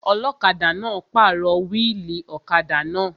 Ọlọ́kadà náà pàrọ̀ wíìlì ọ̀kadà náà